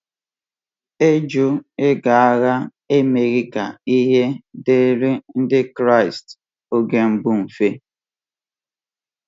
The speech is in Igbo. um Ịjụ ịga agha emeghị ka ihe um dịrị Ndị Kraịst oge mbụ mfe.